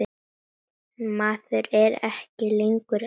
Maður er ekki lengur einn.